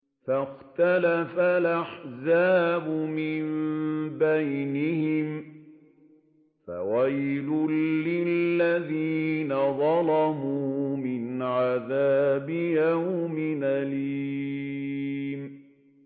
فَاخْتَلَفَ الْأَحْزَابُ مِن بَيْنِهِمْ ۖ فَوَيْلٌ لِّلَّذِينَ ظَلَمُوا مِنْ عَذَابِ يَوْمٍ أَلِيمٍ